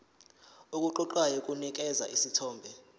okuqoqayo kunikeza isithombe